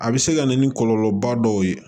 A bɛ se ka na ni kɔlɔlɔba dɔw ye